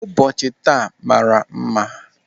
Ụbọchị taa mmara mma.